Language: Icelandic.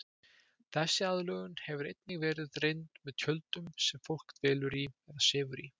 Þessi aðlögun hefur einnig verið reynd með tjöldum sem fólk dvelur í eða sefur í.